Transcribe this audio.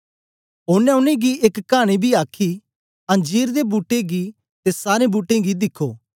ओनें उनेंगी एक कानी बी आखी अंजीर दे बूट्टे गी ते सारे बूट्टें गी दिखो